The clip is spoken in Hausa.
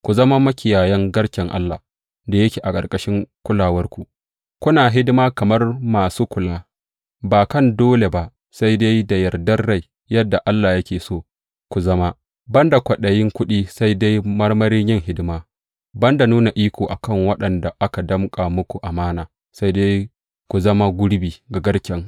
Ku zama makiyayan garken Allah da yake a ƙarƙashin kulawarku, kuna hidima kamar masu kula, ba kan dole ba, sai dai da yardar rai, yadda Allah yake so ku zama; ban da kwaɗayin kuɗi, sai dai marmarin yin hidima; ban da nuna iko a kan waɗanda aka danƙa muku amana, sai dai ku zama gurbi ga garken.